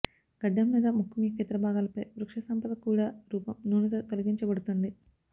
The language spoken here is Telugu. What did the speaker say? గడ్డం లేదా ముఖం యొక్క ఇతర భాగాలపై వృక్షసంపద కూడా రూపం నూనెతో తొలగించబడుతుంది